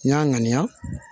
N y'a ŋaniya